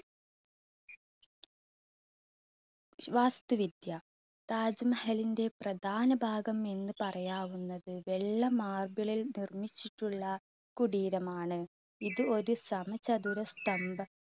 വാസ്തുവിദ്യ. താജ് മഹലിന്റെ പ്രധാന ഭാഗം എന്ന് പറയാവുന്നത് വെള്ള marble ൽ നിർമ്മിച്ചിട്ടുള്ള കുടീരമാണ് ഇത് ഒരു സമചതുര സ്തംഭം